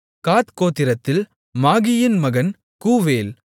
காத் கோத்திரத்தில் மாகியின் மகன் கூவேல்